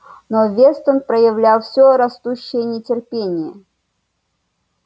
но вестон проявлял все растущее нетерпение